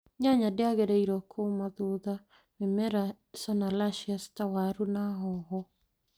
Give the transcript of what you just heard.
Nyanya ndĩagĩrĩirwo kuuma thutha mĩmera solanaceous ta waru na hoho